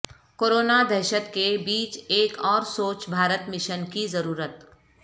corona دہشت کے بیچ ایک اور سوچھ بھارت مشن کی ضرورت